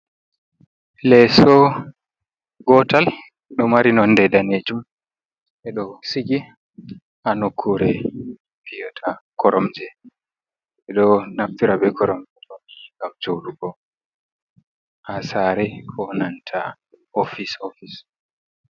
Leeso, gotal ɗo mari nonde danejum, e ɗo sigi haa nokkure fi'ata koromje, ɓe ɗo naftira be koromje ɗo nii ngam jouɗugo haa sare ko nanta ofis-ofis.